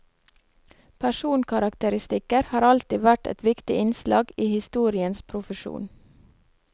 Personkarakteristikker har alltid vært et viktig innslag i historikerens profesjon.